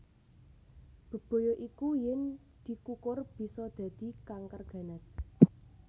Bebaya iku yen dikukur bisa dadi kanker ganas